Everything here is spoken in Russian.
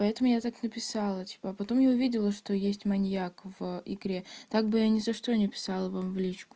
поэтому я так написала типа потом я увидела что есть маньяк в игре так бы я ни за что не писала бы в личку